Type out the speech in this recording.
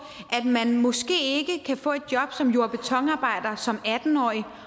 at man måske ikke kan få et job som jord og betonarbejder som atten årig